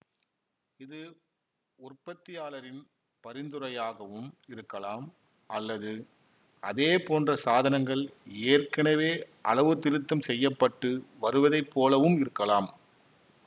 இது உற்பத்தியாளரின் பரிந்துரையாகவும் இருக்கலாம் அல்லது அதேபோன்ற சாதனங்கள் ஏற்கனவே அளவுத்திருத்தம் செய்ய பட்டு வருவதை போலவும் இருக்கலாம்